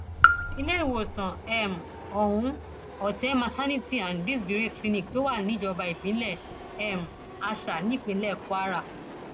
iléèwòsàn um ọhún otte maternity and disberay clinic ló wà níjọba ìbílẹ um àṣà nípínlẹ kwara